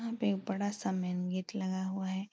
यहाँ पे एक बड़ा सा मेन गेट लगा हुआ है।